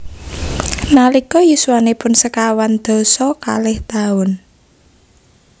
Nalika yuswanipun sekawan dasa kalih taun